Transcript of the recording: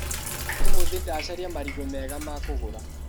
ũmũthĩ ndacaria marigũ mega makũruga.